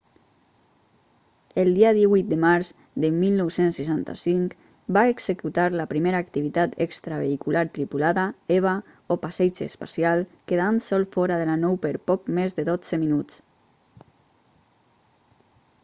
el dia 18 de març de 1965 va executar la primera activitat extravehicular tripulada eva o passeig espacial quedant sol fora de la nou per poc més de dotze minuts